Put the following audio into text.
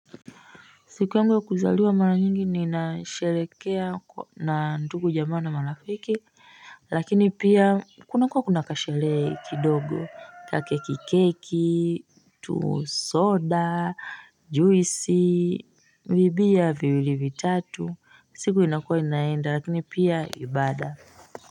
Siku yangu ya kuzaliwa mala nyingi ni inasherekea na nduku jamaa na mala fiki Lakini pia kuna kua kuna kasheree kidogo kake kikeki tu soda juisi Vibia viwili vitatu siku inakua inaenda lakini pia ibada.